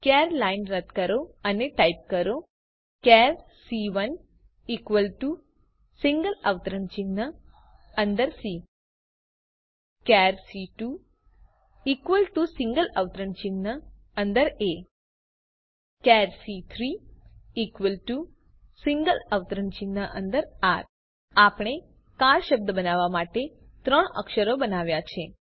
ચાર લાઈન રદ કરો અને ટાઇપ કરો ચાર સી1 ઇકવલ ટુ સિંગલ અવતરણ ચિહ્ન અંદર સી ચાર સી2 ઇકવલ ટુ સિંગલ અવતરણ ચિહ્ન અંદર એ ચાર સી3 ઇકવલ ટુ સિંગલ અવતરણ ચિહ્ન અંદર આર આપણે કાર શબ્દ બનાવવા માટે ત્રણ અક્ષરો બનાવ્યા છે